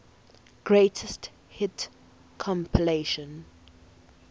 greatest hits compilation